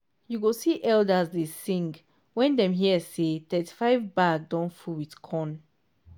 you go see elders dey sing when dem hear say thirty-five bag don full with corn.